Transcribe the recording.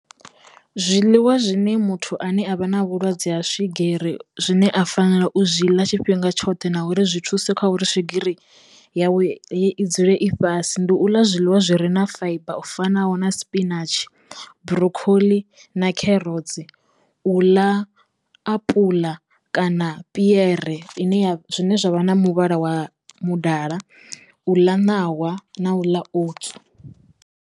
Zwiḽiwa zwine muthu ane a vha na vhulwadze ha swigiri zwine a fanela u zwi ḽa tshifhinga tshoṱhe na uri zwi thusa kha uri swigiri yawe i dzule i fhasi ndi u ḽa zwiḽiwa zwi re na faiba u fanaho na spinatshi, brokhoḽi na kherotsi, u ḽa apula kana piere ine ya zwine zwavha na muvhala wa mudala, u ḽa ṋawa na u ḽa outsu.